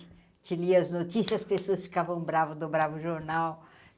lia as notícias, as pessoas ficavam brava, dobravam o jornal.